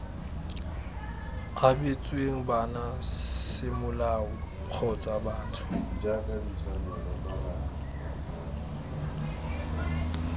abetsweng bana semolao kgotsa batho